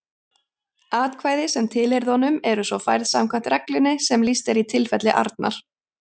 Atkvæði sem tilheyrðu honum eru svo færð samkvæmt reglunni sem lýst er í tilfelli Arnar.